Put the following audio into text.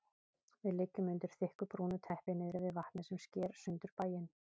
Við liggjum undir þykku brúnu teppi niðri við vatnið sem sker sundur bæinn.